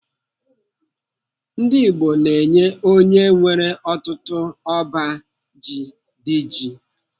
Ndigbo na-enye onye nwere ọtụtụ ọba ji Diji.